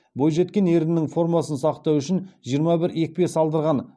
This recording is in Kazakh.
бойжеткен ернінің формасын сақтау үшін жиырма бір екпе салдырған